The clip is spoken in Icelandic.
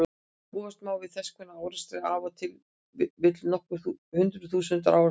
Búast má við þess konar árekstri á ef til vill nokkur hundruð þúsund ára fresti.